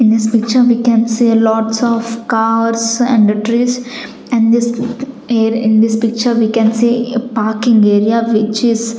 In this picture we can see lots of cars and trees and this in this picture we can see a parking area which is--